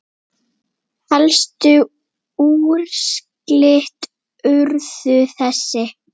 Helstu úrslit urðu þessi